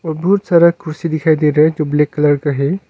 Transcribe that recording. बहुत सारा कुर्सी दिखाई दे रहा है जो ब्लैक कलर का है।